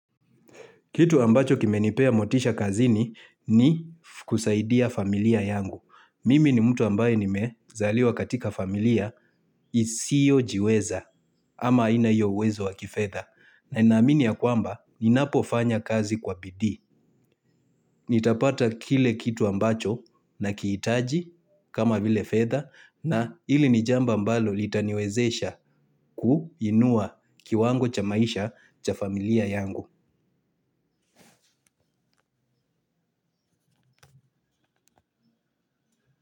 Kitu ambacho kimenipea motisha kazini ni kusaidia familia yangu. Mimi ni mtu ambaye nimezaliwa katika familia isiojiweza ama haina iyo uwezo wa kifedha. Na ninamini ya kwamba ninapofanya kazi kwa bidii nitapata kile kitu ambacho nakiitaji kama vile fedha na hili ni jambo ambalo litaniwezesha kuinua kiwango cha maisha cha familia yangu.